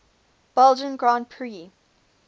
belgian grand prix